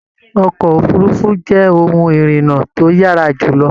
Ọkọ òfurùnfu jẹ ohùn irinna to yara jùlọ.